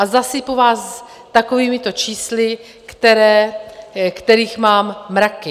A zasypu vás takovýmito čísly, kterých mám mraky.